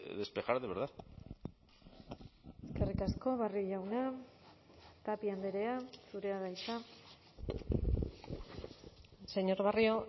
despejar de verdad eskerrik asko barrio jauna tapia andrea zurea da hitza señor barrio